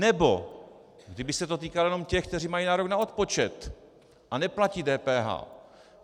Nebo kdyby se to týkalo jenom těch, co mají nárok na odpočet a neplatí DPH.